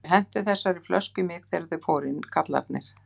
Þeir hentu þessari flösku í mig þegar þeir fóru inn, kallarnir.